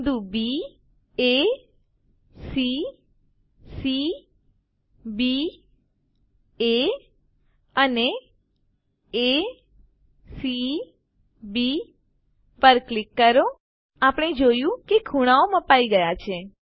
બિંદુ baસી cbએ અને acબી પર ક્લિક કરો આપણે જોયું કે ખુણાઓ મપાઈ ગયા છે